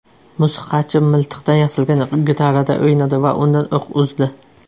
Musiqachi miltiqdan yasalgan gitarada o‘ynadi va undan o‘q uzdi .